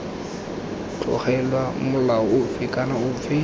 tlogelwa molao ofe kana ofe